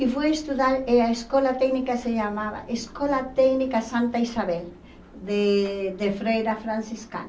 E fui estudar, e a escola técnica se chamava Escola Técnica Santa Isabel, de de Freira Franciscana.